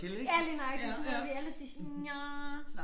Ja lige nøjagtig sådan noget reality nja